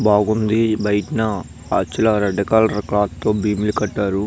బాగుంది బయట red colour cloth తో బిల్ కటారు.